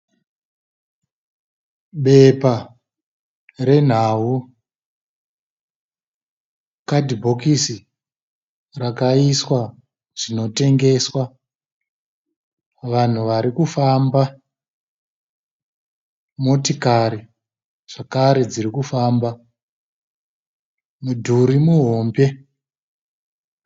Bepa renhau . Kadhibhokisi rakaiswa zvinotengeswa. Vanhu varikufamba. Motikari zvekare dzirikufamba . Mudhuri muhombe.